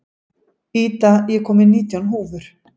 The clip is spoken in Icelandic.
Ida, ég kom með nítján húfur!